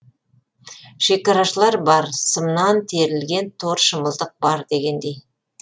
шекарашылар бар сымнан керілген тор шымылдық бар дегендей